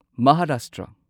Maharashtra